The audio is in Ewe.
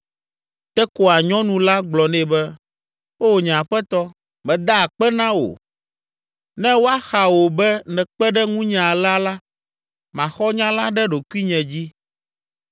Tekoa nyɔnu la gblɔ nɛ be, “Oo, nye aƒetɔ, meda akpe na wò; ne woaxa wò be nèkpe ɖe ŋunye alea la, maxɔ nya la ɖe ɖokuinye dzi.”